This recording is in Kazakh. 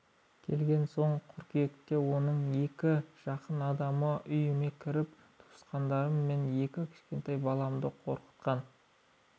келген соң қыркүйекте оның екі жақын адамы үйіме кіріп туысқандарым мен екі кішкентай баламды қорқықтан